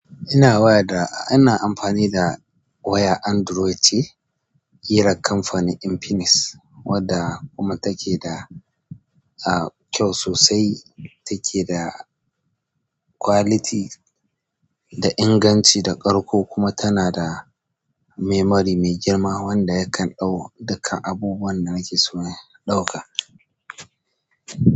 Ina waya da, ina amfani da wayar Android ce ƙirar kamfanin Infinix wadda kuma take da a kyau sosai. Take da quality da inganci da ƙarko kuma tana da memory mai girma wanda yakan ɗau dukkan abubuwan da nake so in ɗauka.